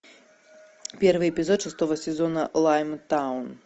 первый эпизод шестого сезона лаймтаун